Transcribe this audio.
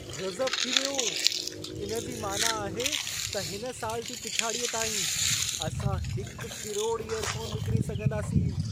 गज़ब थी वियो! इन जी मानाअ आहे त हिन साल जी पिछाड़ीअ ताईं, असां 1 करोड़ इयरफ़ोन विकिणी सघंदासीं।